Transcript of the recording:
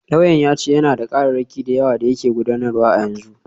Lauyan ya ce yana da kararraki da yawa da yake gudanarwa a yanzu.